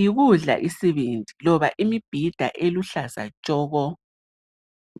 yikudla isibindi loba imbhida eluhlaza tshoko.